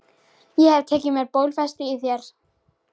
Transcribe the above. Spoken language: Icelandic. Ég hef tekið mér bólfestu í þér.